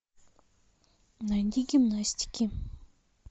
найди гимнастики